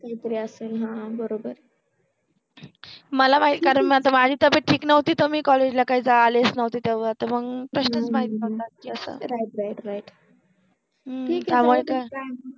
असेल ह बरोबर आहे मला माहित कारण माझि तब्बेत ठिक नवति त मि काइ कॉलेज ला आलिच नवति तेव्हा त मंग ह्म्म राईट राईट राईट ठिक आहे